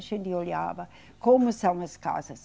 A gente olhava como são as casas.